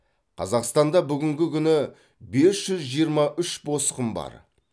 қазақстанда бүгінгі күні бес жүз жиырма үш босқын бар